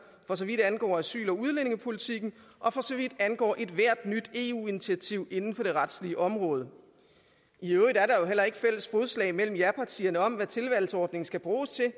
for så vidt angår asyl og udlændingepolitikken og for så vidt angår ethvert nyt eu initiativ inden for det retslige område i øvrigt er der jo heller ikke fælles fodslag mellem japartierne om hvad tilvalgsordningen skal bruges til